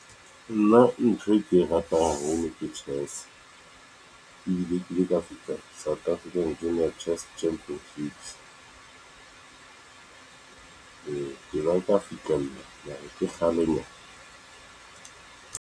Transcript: Nna ntho e ke e ratang haholo ke chess ebile ke ile ka fihla South African Game of Chess Championships ke la ka fihlella ka re ke kgalenyana.